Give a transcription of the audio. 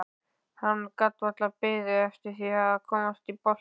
Hann gat varla beðið eftir að komast í boltann.